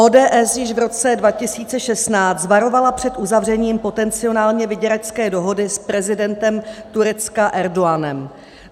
ODS již v roce 2016 varovala před uzavřením potenciálně vyděračské dohody s prezidentem Turecka Erdoganem.